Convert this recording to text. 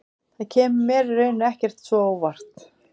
Það kemur mér í rauninni ekkert svo á óvart.